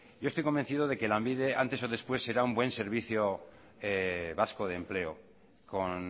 yo estoy convencido de que lanbide antes o después será un buen servicio vasco de empleo con